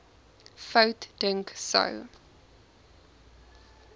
fout dink sou